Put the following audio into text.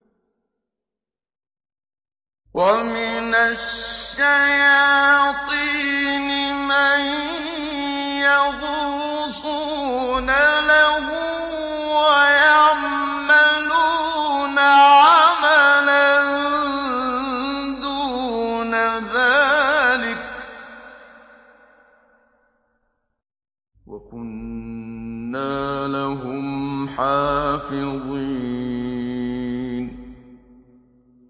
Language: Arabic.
وَمِنَ الشَّيَاطِينِ مَن يَغُوصُونَ لَهُ وَيَعْمَلُونَ عَمَلًا دُونَ ذَٰلِكَ ۖ وَكُنَّا لَهُمْ حَافِظِينَ